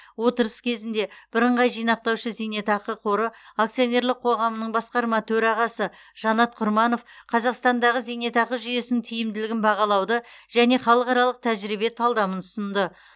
отырыс кезінде бірыңғай жинақтаушы зейнетақы қоры акционерлік қоғамының басқарма төрағасы жанат құрманов қазақстандағы зейнетақы жүйесінің тиімділігін бағалауды және халықаралық тәжірибе талдамын ұсынды